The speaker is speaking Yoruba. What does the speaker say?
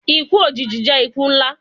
Iku ojiji jẹ iku nla